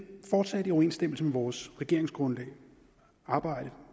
fortsat i overensstemmelse med vores regeringsgrundlag arbejde